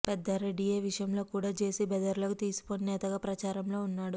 పెద్దారెడ్డి ఏ విషయంలో కూడా జెసి సోదరులకు తీసిపోని నేతగా ప్రచారంలో ఉన్నాడు